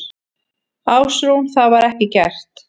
Ásrún: Það var ekki gert?